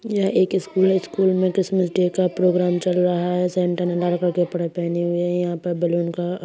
यह एक स्कूल हैस्कूल में क्रिसमस डे का प्रोग्राम चल रहा है सेंटा ने लाल कलर के कपडे पहने हुए हैं यहां पे बैलून का--